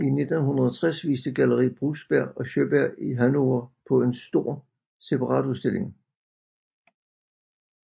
I 1960 viste Galleri Brusberg Sjöberg i Hannover på en stor separatudstilling